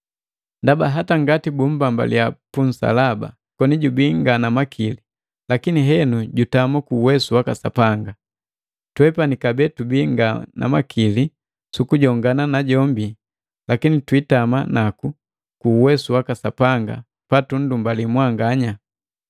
Ndaba hata ngati bumbambaliya punsalaba koni jubii nga na makili, lakini henu jutama ku uwesu waka Sapanga. Twepani kabee tubii nga na makili sukujongana najombi lakini twiitama naku ku uwesu waka Sapanga patundakali mwanganya.